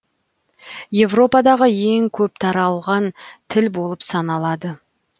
европадаға ең көп таралған тіл болып саналады